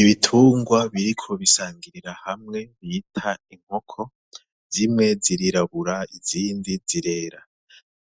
Ibitungwa biriko bisangirira hamwe bita inkoko, zimwe zirirabura izindi zirera.